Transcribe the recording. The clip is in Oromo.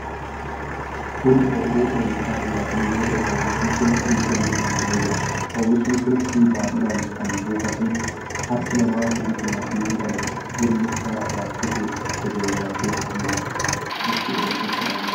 Kun ooyiruu oomisha timaatimii yoo ta'u, oomishi kun firii kennuu eegalee jira. Oomishi kun firii baay'inaan kan buufateedha. Harki namaa firii timaatimii kana jirma isaa irraa kutuun gadi rarraasee qabee jira. Bifti oomisha kanaa maali?